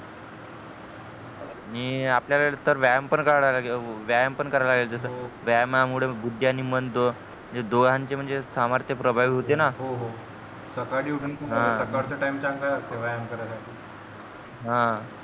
मी आपल्याला तर व्यायाम पण करा लागेल व्यायाम पण करा लागेल जस व्यायमा मूळे बुद्धी आणि मन दोघांचे म्हणजे सामर्थ प्रभावी होते ना सकाळी उठून सकाळचा तिने चांगला असते व्यायाम करायसाठी हा